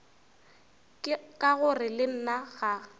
ka gore le nna ga